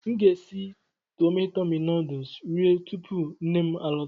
Aga m esi Tọmi Tọmi nuduls rie tupu nnem a lọta.